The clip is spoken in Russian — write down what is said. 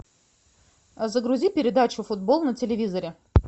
загрузи передачу футбол на телевизоре